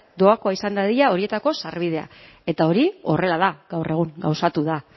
doakoa izan dadila horietarako sarbidea eta hori horrela da gaur egun gauzatu da